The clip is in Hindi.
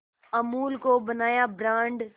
अमूल को बनाया ब्रांड